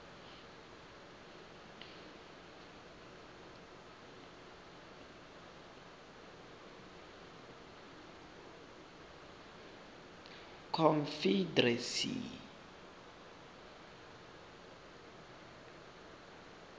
confederacy